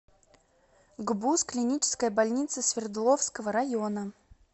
гбуз клиническая больница свердловского района